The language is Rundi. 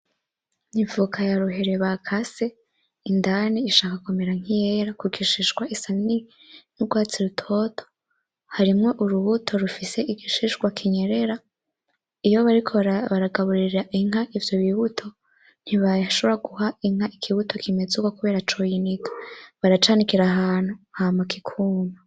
Ivoka ya ruhere bakase indani ishaka kumera nk'iyera kugishishwa isa n'urwatsi rutoto, harimwo urubuto igishishwa kinyerera iyo bariko baragaburira inka ivyo bibuto; ntibashobora guha inka ikibuto kingana uko kubera coyiniga, baracanikira ahantu hama kikuma.